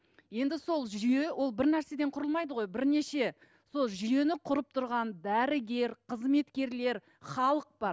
енді сол жүйе ол бір нәрседен құрылмайды ғой бірнеше сол жүйені құрып тұрған дәрігер қызметкерлер халық бар